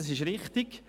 Das ist richtig.